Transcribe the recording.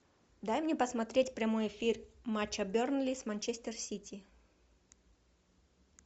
дай мне посмотреть прямой эфир матча бернли с манчестер сити